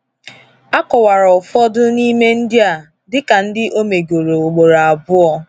Akọwara ụfọdụ n’ime ndị a dịka ndi omegoro ugboro abụọ.